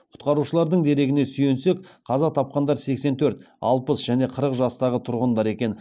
құтқарушылардың дерегіне сүйенсек қаза тапқандар сексен төрт алпыс және қырық жастағы тұрғындар екен